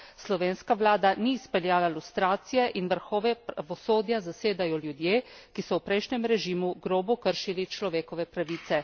Slovenska vlada ni izpeljala lustracije in vrhove pravosodja zasedajo ljudje, ki so v prejšnjem režimu grobo kršili človekove pravice.